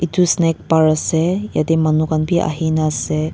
etu snack bar ase yete manu khan b ahi na ase.